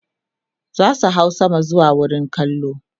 zasu hau sama zuwa wurin kallo